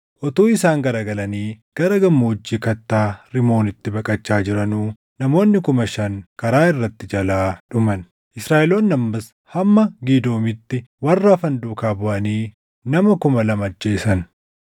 Utuu isaan garagalanii gara gammoojjii kattaa Rimoonitti baqachaa jiranuu namoonni kuma shan karaa irratti jalaa dhuman. Israaʼeloonni ammas hamma Gidoomitti warra hafan duukaa buʼanii nama kuma lama ajjeesan.